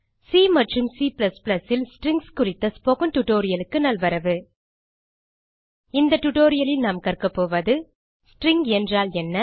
C மற்றும் C ல் strings குறித்த spoken tutorialக்கு நல்வரவு இந்த டியூட்டோரியல் லில் நாம் கற்க போவது ஸ்ட்ரிங் என்றால் என்ன